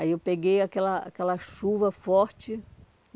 Aí eu peguei aquela aquela chuva forte.